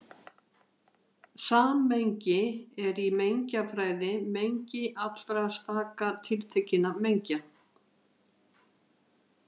Sammengi er í mengjafræði mengi allra staka tiltekinna mengja.